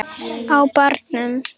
Á barnum!